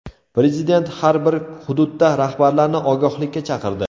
Prezident har bir hududdagi rahbarlarni ogohlikka chaqirdi.